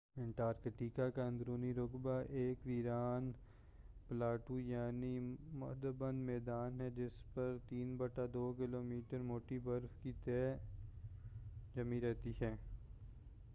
Antarctica کا اندرونی رقبہ ایک ویران پلاٹو یعنی مُحدَّب میدان ہے جس پر 2-3 کیلومیٹر موٹی برف کی تہ جمی رہتی ہے